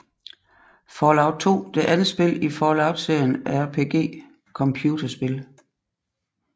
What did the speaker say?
Fallout 2 det andet spil i Fallout serien af RPG computerspil